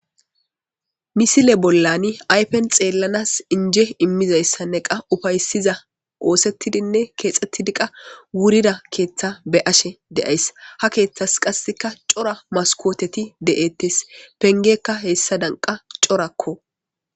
misile bollani aypen xeellanas inje immizayssanne qa ufaysiza oosettidinne keexxettidi qa wurida keeththa be7ashe de7ays ha keeththas qasseka cora maskooteti de7ettes pengekka hessadan qa corakko.